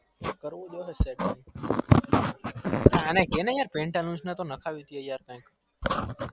કરવું તો હ setting અને કેને pantaloos નાખવી ડે કઈ